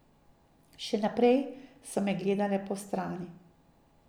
Še naprej so me gledale postrani.